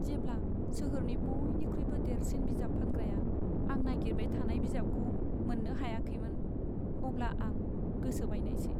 जेब्ला सोहोरनि बयनिख्रुइबो देरसिन बिजाब फानग्राया आं नागिरबाय थानाय बिजाबखौ मोननो हायाखैमोन, अब्ला आं गोसो बायनायसै।